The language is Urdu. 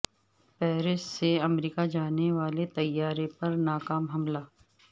پیرس سے امریکہ جانے والے طیارے پر ناکام حملہ